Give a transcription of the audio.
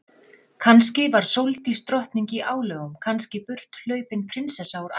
Kannski var Sóldís drottning í álögum, kannski burthlaupin prinsessa úr ævintýrum.